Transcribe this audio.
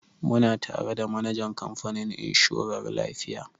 Muna tare da manajan kamfanin inshorar lafiya.